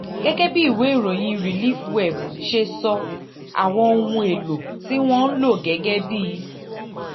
gẹ́gẹ́ bí ìwé ìròyìn relief web ṣe sọ àwọn ohun èlò tí wọ́n ń lò gẹ́gẹ́ bí